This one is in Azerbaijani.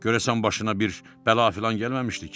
Görəsən başına bir bəla filan gəlməmişdi ki?